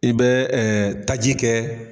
I bɛ taji kɛ.